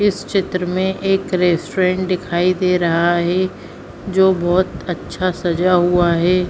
इस चित्र में एक रेस्टोरेंट दिखाई दे रहा है जो बहोत अच्छा सजा हुआ है।